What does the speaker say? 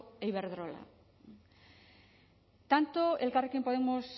e iberdrola tanto elkarrekin podemos